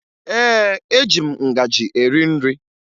Ee, eji m ngaji eri nri